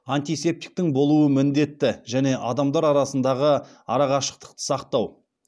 антисептиктің болуы міндетті және адамдар арасындағы арақашықтықты сақтау